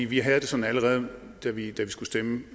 vi havde det sådan allerede da vi skulle stemme